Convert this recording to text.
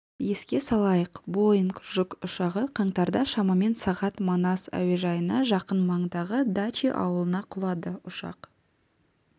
еске салайық боинг жүк ұшағы қаңтарда шамамен сағат манас әуежайына жақын маңдағы дачи ауылына құлады ұшақ